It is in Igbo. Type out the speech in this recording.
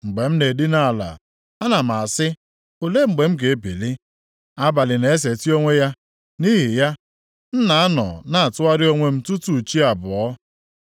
Mgbe m na-edina ala, ana m asị, ‘Olee mgbe m ga-ebili?’ Abalị na-eseti onwe ya, nʼihi ya, m na-anọ na-atụgharị onwe m tutu chi abọọ.